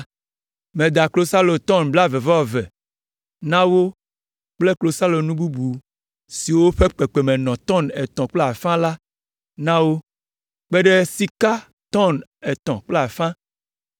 Meda klosalo tɔn blaeve-vɔ-eve na wo kple klosalonu bubu siwo ƒe kpekpeme nɔ tɔn etɔ̃ kple afã la na wo, kpe ɖe sika tɔn etɔ̃ kple afã